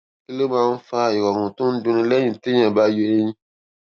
kí ló máa ń fa ìròrùn tó ń dunni léyìn téèyàn bá yọ eyín